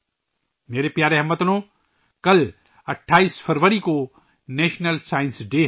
میرے پیارے ہم وطنو، کل 28 فروری کو ' قومی سائنس کا دن ' ہے